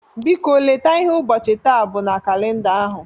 Biko, leta ihe ụbọchị taa bụ na kalịnda ahụ.